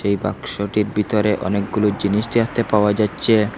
এই বাক্সটির ভিতরে অনেকগুলো জিনিস দেখতে পাওয়া যাচ্ছে।